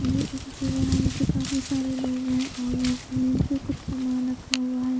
ये एक जगह है यहाँ पे काफी सारे लोग हैं और यहाँ जमीन पे कुछ सामान रखा हुआ है।